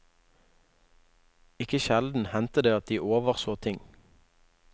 Ikke sjelden hendte det at de overså ting.